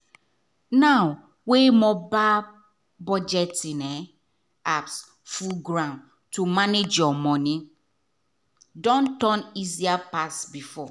now wey mobile budgeting um apps full ground to manage your money don turn easier pass before.